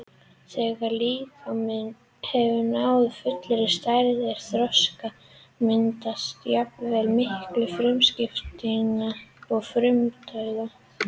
Þegar líkaminn hefur náð fullri stærð og þroska myndast jafnvægi milli frumuskiptinga og frumudauða.